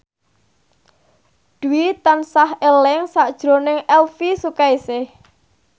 Dwi tansah eling sakjroning Elvy Sukaesih